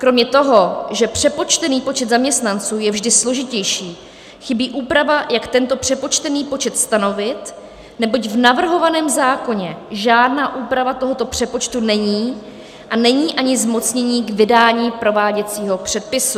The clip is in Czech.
Kromě toho, že přepočtený počet zaměstnanců je vždy složitější, chybí úprava, jak tento přepočtený počet stanovit, neboť v navrhovaném zákoně žádná úprava tohoto přepočtu není a není ani zmocnění k vydání prováděcího předpisu.